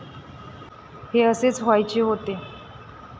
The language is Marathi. हे असेच व्हायचे होते